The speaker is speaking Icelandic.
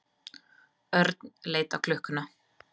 Örn leit á klukkuna.